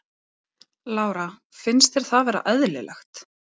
Lára: Finnst þér það vera eðlilegt?